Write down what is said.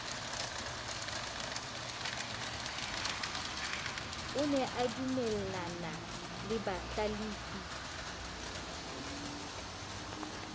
o ne adumellana le bahlalefi